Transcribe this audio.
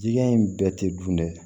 Jigiya in bɛɛ tɛ dun dɛ